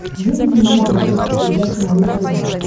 выведи мне на смотрешке передачу малыш тв